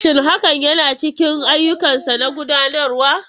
Shin hakan yana cikin ayyukansa na gudanarwa?